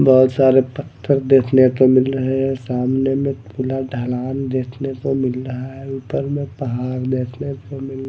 बहोत सारे पत्थर देखने को मिल रहे हैं सामने में खुला ढलान देखने को मिल रहा है ऊपर में पहाड़ देखने को मिल--